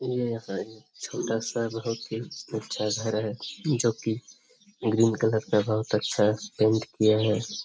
ये एक है छोटा-सा बहुत ही अच्छा घर है जो की ग्रीन कलर का बहुत अच्छा पेंट किया है।